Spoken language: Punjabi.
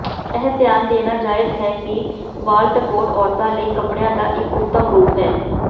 ਇਹ ਧਿਆਨ ਦੇਣਾ ਜਾਇਜ਼ ਹੈ ਕਿ ਵਾਲਟਕੋਟ ਔਰਤਾਂ ਲਈ ਕੱਪੜਿਆਂ ਦਾ ਇਕ ਉੱਤਮ ਰੂਪ ਹੈ